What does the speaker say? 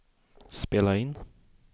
spela in